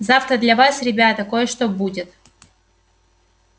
завтра для вас ребята кое-что будет